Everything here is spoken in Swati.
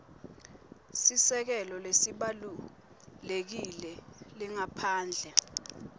sisekelo lesibalulekile lengaphandle